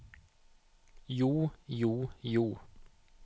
jo jo jo